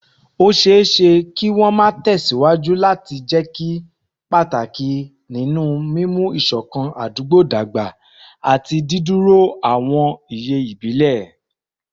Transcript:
Ó ṣeé ṣe kí wọ́n máa tẹ̀ síwájú láti jẹ́ pàtàkì nínú mímú ìṣọ̀kan àdúgbò dàgbà àti dídúró àwọn iye ìbílẹ̀